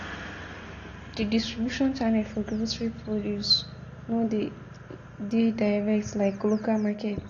Di distribution channel for grocery produce no de dey direct like local market